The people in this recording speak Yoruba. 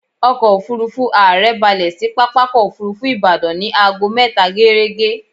Ọkọ̀-òfurufú ààrẹ balẹ̀ sí pápákọ̀-òfurufú Ìbàdàn ní aago mẹta géérégé.